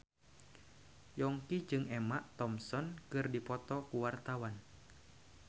Yongki jeung Emma Thompson keur dipoto ku wartawan